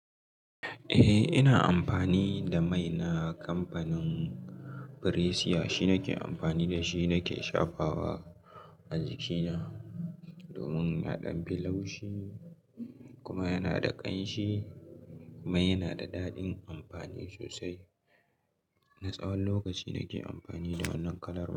Eh, ina amfani da mai na kamfanin Priesia. Shi nake amfani da shi nake shafawa a jikina domin yana ɗan fi laushi kuma yana da ƙanshi. Mai yana da daɗin amfani sosai. Na tsawon lokaci nake amfani da wannan kalan.